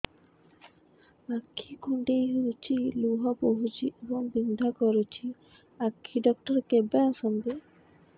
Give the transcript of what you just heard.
ଆଖି କୁଣ୍ଡେଇ ହେଉଛି ଲୁହ ବହୁଛି ଏବଂ ବିନ୍ଧା କରୁଛି ଆଖି ଡକ୍ଟର କେବେ ଆସନ୍ତି